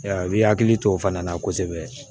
Ya i bi hakili to o fana na kosɛbɛ